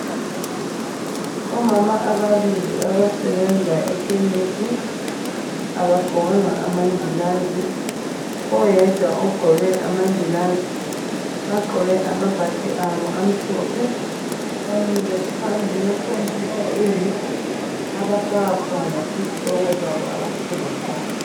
Omama ababili abasebenza ekhemisi. Abagqokanga amangilazi, oyedwa ugqoke amangilazi. Bagqoke amabhatshi abo amhlophe. Bamilie phambi kwe computer eyi abafaka khona isitsoko sabo abasithengisayo.